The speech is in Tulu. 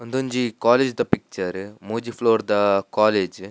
ಉಂದೊಂಜಿ ಕಾಲೇಜ್ ದ ಪಿಕ್ಚರ್ ಮೂಜಿ ಫ್ಲೋರ್ ದ ಕಾಲೇಜ್ .